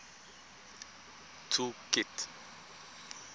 tool kit